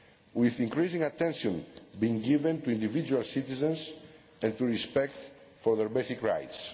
with increasing attention being given to individual citizens and to respect for their basic rights.